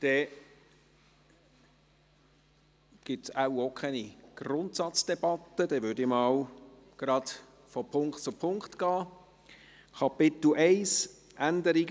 Dann gibt es wohl auch keine Grundsatzdebatte, dann würde ich mal gerade von Punkt zu Punkt gehen.